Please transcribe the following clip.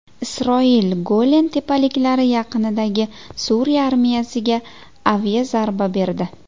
Isroil Golan tepaliklari yaqinidagi Suriya armiyasiga aviazarba berdi.